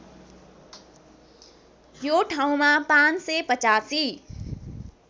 यो ठाउँमा ५८५